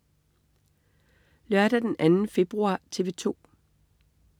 Lørdag den 2. februar - TV 2: